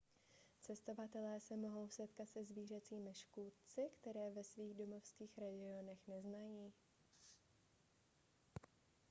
cestovatelé se mohou setkat se zvířecími škůdci které ve svých domovských regionech neznají